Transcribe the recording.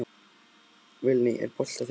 Vilný, er bolti á þriðjudaginn?